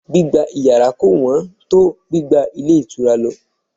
Gbígba yàrá kò wón tó gbígba ilé ìtura lọ